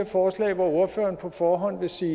forslag hvor ordføreren på forhånd vil sige